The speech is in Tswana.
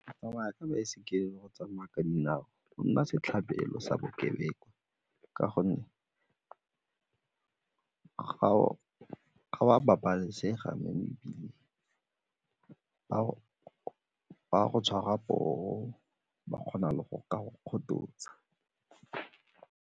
Tsamaya ka baesekele le go tsamaya ka dinao o nna setlhabelo sa bokebekwa ka gonne ga o a babalesega mo mebileng, ba go tshwara poo ba kgona le go ka go kgothosa.